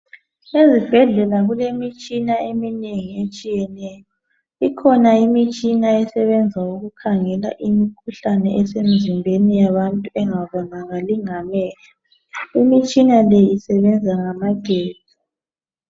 Ezibhedlela kulemitshina eminengi etshiyeneyo, ikhona imitshina esebenza ukukhangela imikhuhlane ese mzimbeni yabantu engabonakali ngamehlo ,imitshina le isebenza ngamagetsi .